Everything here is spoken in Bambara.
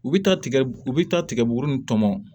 U bɛ taa tigɛ u bɛ taa tigɛbugu ni tɔmɔ